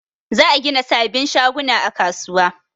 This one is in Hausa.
Za a gina sabin shaguna a kasuwa